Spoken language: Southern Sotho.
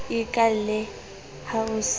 e kaale ha o se